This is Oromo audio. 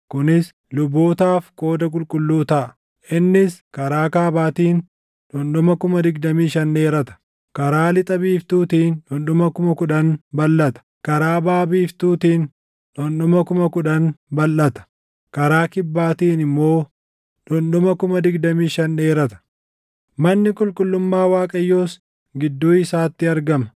Kunis lubootaaf qooda qulqulluu taʼa. Innis karaa kaabaatiin dhundhuma 25,000 dheerata; karaa lixa biiftuutiin dhundhuma 10,000 balʼata; karaa baʼa biiftuun dhundhuma 10,000 balʼata; karaa kibbaatiin immoo dhundhuma 25,000 dheerata. Manni qulqullummaa Waaqayyoos gidduu isaatti argama.